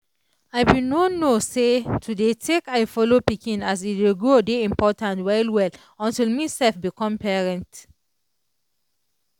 i be no know say to dey take eye follow pikin as e dey grow dey important well well until me self become parent.